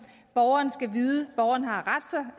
borgerne skal vide borgerne har